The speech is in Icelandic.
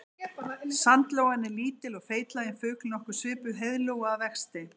Sandlóan er lítill og feitlaginn fugl nokkuð svipuð heiðlóu að vexti.